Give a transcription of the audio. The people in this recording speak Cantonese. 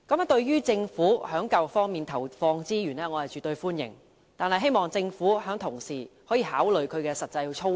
對於政府在教育方面投放資源，我絕對歡迎，但希望政府可同時考慮有關實際操作。